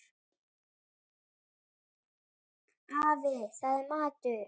Afi, það er matur